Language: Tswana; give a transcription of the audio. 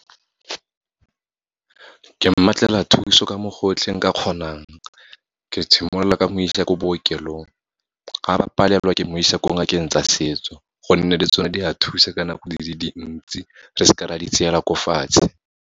Ke mmatlela thuso ka mo gotlhe nka kgonang. Ke simolola ka go mo isa ko bookelong, ga ba palelwa ke mo isa ko ngakeng tsa setso, gonne le tsone di a thuse ka nako di le dintsi, re seke ra di tseela ko fatshe.